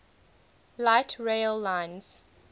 light rail lines